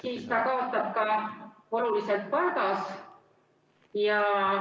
... siis ta kaotab ka oluliselt palgas.